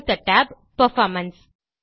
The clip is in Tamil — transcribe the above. அடுத்த tab பெர்ஃபார்மன்ஸ்